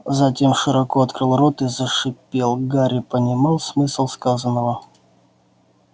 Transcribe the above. затем широко открыл рот и зашипел гарри понимал смысл сказанного